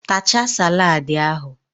Tachaa salad ahụ!.